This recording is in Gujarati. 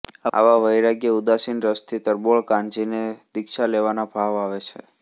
આવા વૈરાગ્યઉદાસીનરસથી તરબોળ કાનજીને દીક્ષા લેવાના ભાવ આવે છે